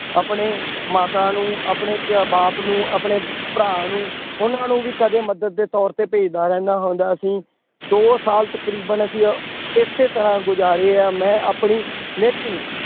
ਆਪਣੇ ਮਾਤਾ ਨੂੰ ਆਪਣੇ ਪ ਬਾਪ ਨੂੰ ਆਪਣੇ ਭਰਾ ਨੂੰ ਉਹਨਾਂ ਨੂੰ ਵੀ ਕਦੇ ਮਦਦ ਦੇ ਤੌਰ ਤੇ ਭੇਜਦਾ ਰਹਿੰਦਾ ਹੁੰਦਾ ਸੀ, ਦੋ ਸਾਲ ਤਕਰੀਬਨ ਅਸੀਂ ਇਸੇ ਤਰ੍ਹਾਂ ਗੁਜ਼ਾਰੇ ਆ ਮੈਂ ਆਪਣੀ ਲੇਕਿੰਨ